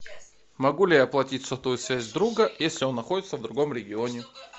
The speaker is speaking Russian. могу ли я оплатить сотовую связь друга если он находится в другом регионе